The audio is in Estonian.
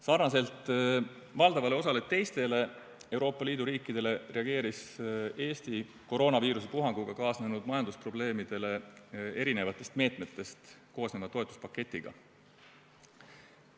Samamoodi nagu valdav osa teisi Euroopa Liidu riike reageeris Eesti koroonaviiruse puhanguga kaasnenud majandusprobleemidele erinevatest meetmetest koosneva toetuspaketiga.